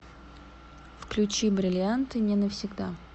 включи бриллианты не навсегда